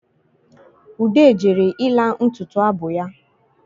Ude jere ịla ntutu abụ ya